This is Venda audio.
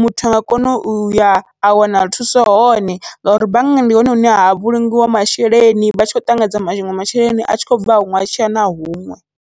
muthu anga kona uya a wana thuso hone ngauri banngani ndi hone hune ha vhulungiwa masheleni vha tshi khou ṱanganedza maṅwe masheleni atshi khou bva huṅwe a tshiya na huṅwe.